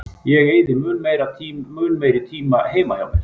Ég eyði mun meiri tíma heima hjá mér.